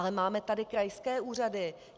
Ale máme tady krajské úřady.